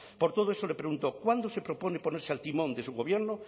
por todo eso le pregunto cuándo se propone ponerse al timón de su gobierno